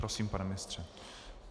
Prosím, pane ministře.